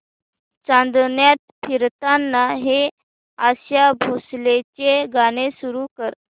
चांदण्यात फिरताना हे आशा भोसलेंचे गाणे सुरू कर